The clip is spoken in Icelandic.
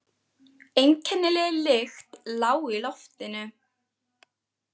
Einkennileg lykt lá í loftinu.